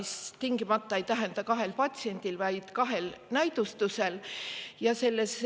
See tingimata ei tähenda, et kahe patsiendi, vaid kahe näidustuse korral.